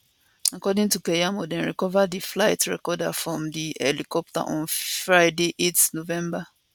according to keyamo dem recova di flight recorder from di helicopter on friday 8 november